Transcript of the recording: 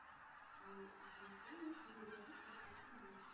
ଆଉ ଆପଣଙ୍କୁ ବି ସୁବିଧା ରେ ସବୁ କିଛି ମିଳିଯିବ।